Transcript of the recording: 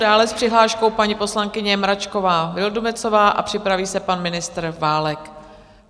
Dále s přihláškou paní poslankyně Mračková Vildumetzová a připraví se pan ministr Válek.